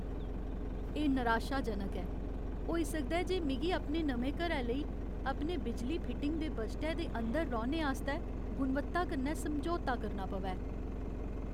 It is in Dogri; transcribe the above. एह् निराशाजनक ऐ, होई सकदा ऐ जे मिगी अपने नमें घरै लेई अपने बिजली फिटिंग दे बजटै दे अंदर रौह्ने आस्तै गुणवत्ता कन्नै समझौता करना पवै।